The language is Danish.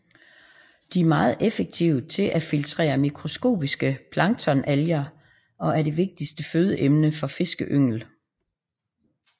De er meget effektive til at filtrere mikroskopiske planktonalger og er det vigtigste fødeemne for fiskeynglen